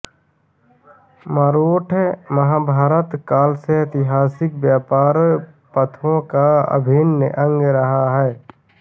मारोठ महाभारत काल से ऐतिहासिक व्यापार पथों का अभिन्न अंग रहा है